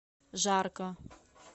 жарко